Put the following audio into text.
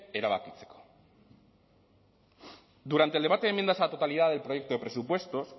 erabakitzeko durante el debate de enmiendas a la totalidad del proyecto de presupuesto